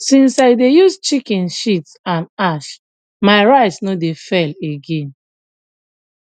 since i dey use chicken shit and ash my rice no dey fail again